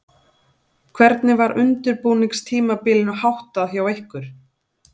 Hvernig var undirbúningstímabilinu háttað hjá ykkur?